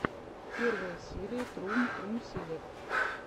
первая серия трум трум селект